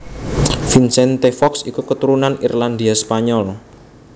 Vicente Fox iku keturunan Irlandia Spanyol